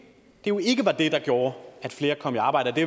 jo ikke var det der gjorde at flere kom i arbejde